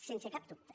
sense cap dubte